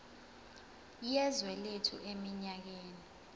yezwe lethu eminyakeni